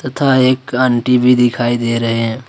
तथा एक आंटी भी दिखाई दे रहे हैं।